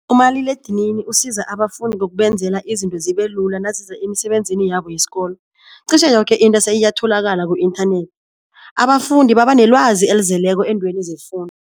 Umaliledinini usiza abafundi ngokubenzela izinto zibe lula naziza emisebenzini yabo yesikolo qishe yoke into seyiyatholakala ku-inthanethi, abafundi baba nelwazi elizeleko eentweni